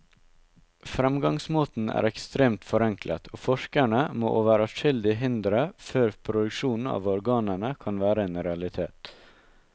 Fremgangsmåten er ekstremt forenklet, og forskerne må over adskillige hindre før produksjon av organene kan være en realitet.